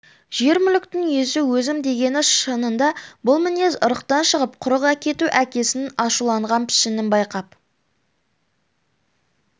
жер мүліктің иесі өзім дегені шынында бұл мінез ырықтан шығып құрық әкету әкесінің ашуланған пішінін байқап